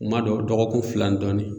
Kuma dɔw dɔgɔkun fila ni dɔɔnin